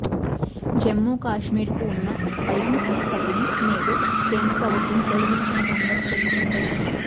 జమ్మూకశ్మీర్ కి ఉన్న స్వయం ప్రతిపత్తిని నేడు కేంద్ర ప్రభుత్వం తొలగించిన సంగతి తెలిసిందే